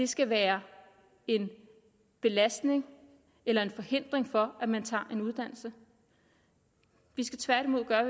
skal være en belastning eller en forhindring for at man tager en uddannelse vi skal tværtimod gøre